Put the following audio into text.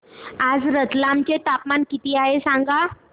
आज रतलाम चे तापमान किती आहे सांगा